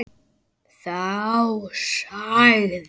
Þá sagði